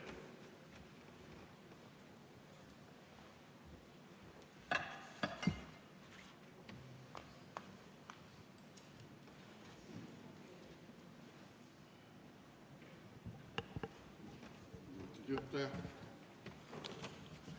Austatud juhataja!